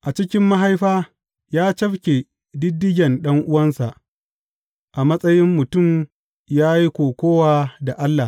A cikin mahaifa ya cafke ɗiɗɗigen ɗan’uwansa; a matsayin mutum ya yi kokawa da Allah.